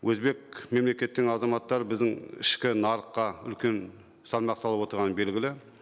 өзбек мемлекеттің азаматтары біздің ішкі нарыққа үлкен салмақ салып отырғаны белгілі